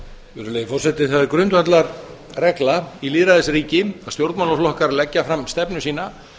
virðulegi forseti það er grundvallarregla í lýðræðisríki að stjórnmálaflokkar leggja fram stefnu sína